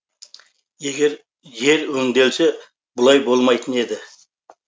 егер жер өңделсе бұлай болмайтын еді